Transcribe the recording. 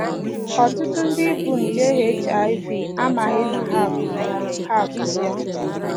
Ọtụtụ ndị bu nje HIV amaghị na ha bu ya ha bu ya